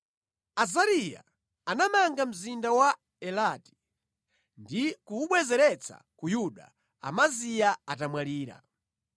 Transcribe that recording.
Azariya anamanga mzinda wa Elati ndi kuwubwezeretsa ku Yuda, Amaziya atamwalira.